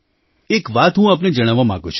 એક વાત હું આપને જણાવવા માગું છું